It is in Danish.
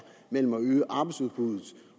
mellem at øge arbejdsudbuddet